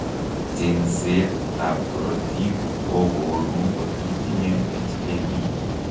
Cheng'seet ab korotik kobooru kotitinye HAV